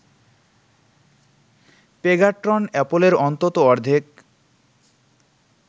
Pegatron অ্যাপলের অন্তত অর্ধেক